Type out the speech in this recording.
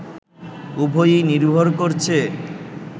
উভয়ই নির্ভর করছে